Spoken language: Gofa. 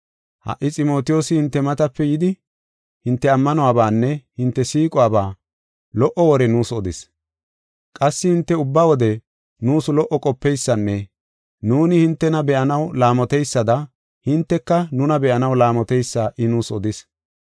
Ha77i Ximotiyoosi hinte matape yidi, hinte ammanuwabanne hinte siiquwaba lo77o wore nuus odis. Qassi hinte ubba wode nuus lo77o qopeysanne nuuni hintena be7anaw laamoteysada hinteka nuna be7anaw laamoteysa I nuus odis.